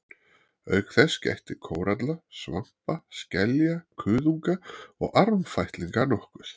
Auk þess gætti kóralla, svampa, skelja, kuðunga og armfætlinga nokkuð.